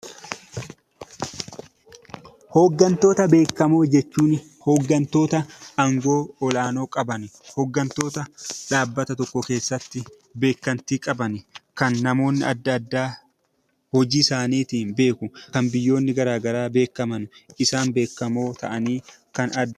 Hooggantoota beekamoo jechuun, hooggantoota angoo olaanoo qaban, hooggantoota dhaabbata tokko keessatti beekamtii qaban, kan namoonni adda addaa hojii isaaniitiin beeku, kan biyyoonni gara garaa beekan, isaan beekamoo ta'anii kan adda...